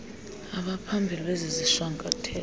abaphambili bezi zishwankathelo